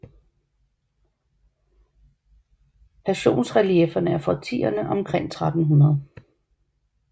Passionsreliefferne er fra årtierne omkring 1300